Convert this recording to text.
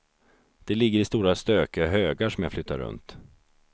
De ligger i stora stökiga högar som jag flyttar runt.